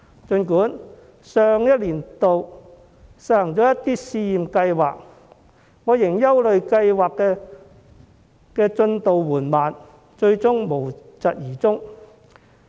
儘管上年度政府實行了一些試驗計劃，但我仍憂慮計劃的進度緩慢，最終會無疾而終。